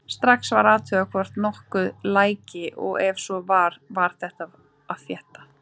Strax var athugað hvort nokkuð læki og ef svo var var byrjað að þétta.